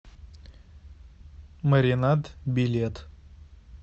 маринад билет